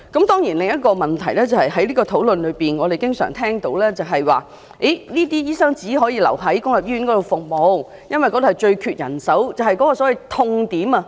當然在這個討論中另一個問題是，我們經常聽到，這些醫生只能留在公立醫院服務，因為公立醫院最缺人手，即所謂的"痛點"。